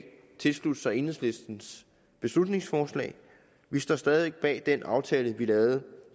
tilslutte sig enhedslistens beslutningsforslag vi står stadig væk bag den aftale vi lavede